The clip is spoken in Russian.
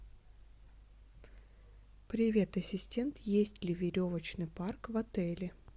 привет ассистент есть ли веревочный парк в отеле